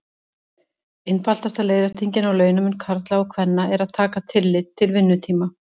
Einfaldasta leiðréttingin á launamun karla og kvenna er að taka tillit til vinnutíma.